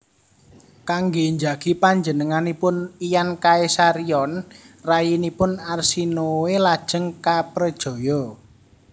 Kanggé njagi panjenenganipun lan Caesarion rayinipun Arsinoe lajeng kaprejaya